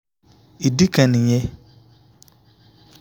ìdí kan nìyẹn